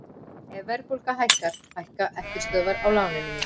Ef verðbólga hækkar hækka eftirstöðvar á láninu mínu.